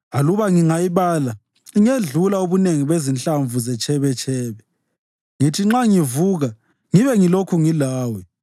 Aluba ngingayibala ingedlula ubunengi bezinhlamvu zetshebetshebe. Ngithi nxa ngivuka ngibe ngilokhu ngilawe.